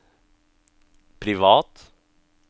privat